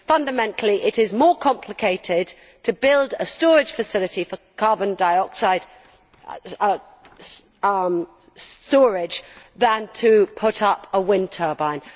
Fundamentally, it is more complicated to build a storage facility for carbon dioxide storage than to put up a wind turbine.